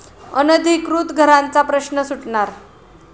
अनधिकृत घरांचा प्रश्न सुटणार?